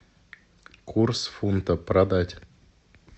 курс фунта продать